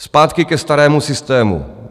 Zpátky ke starému systému.